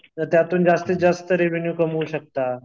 तर त्यातून जास्तीत जास्त रेव्हेन्यू कमवू शकता.